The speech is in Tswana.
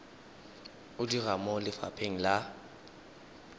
o dira mo lefapheng la